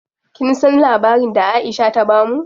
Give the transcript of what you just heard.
Kin san labarin da Aisha ta bamu?